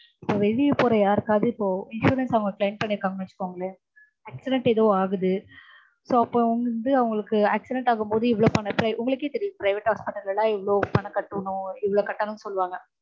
இப்போ வெளிய போற யார்க்காவது இப்போ insurance அவங்க claim பண்ணிருக்காங்கன்னு வச்சுக்கோங்களேன். accident ஏதோ ஆகுது. so அப்போ வந்து அவங்களுக்கு வந்து accident ஆகும்போது இவ்ளோ பணம் உங்களுக்கே தெரியும் private hospital ல்லலாம் எவ்ளோ பணம் கட்டனும் இவ்ளோ கட்டனுன் சொல்வாங்க